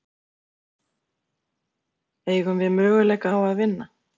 Eigum við möguleika á að vinna?